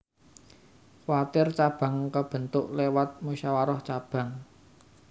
Kwartir cabang kabentuk lewat musyawarah cabang